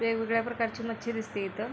वेगवेगळ्या प्रकारची मच्छी दिसतेय इथ.